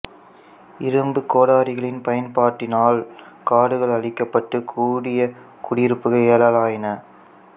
இரும்புக் கோடாரிகளின் பயன்பாட்டினால் காடுகள் அழிக்கப்பட்டு கூடிய குடியிருப்புகள் எழலாயின